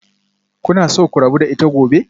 Kuna so ku rabu da ita gobe?